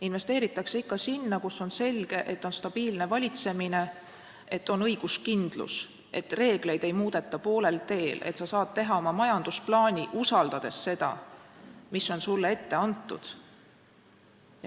Investeeritakse ikka sinna, kus on selge, et valitsemine on stabiilne, kus on õiguskindlus, et reegleid ei muudeta poolel teel ja sa saad oma majandusplaani teha, usaldades reegleid, mis on sulle ette antud.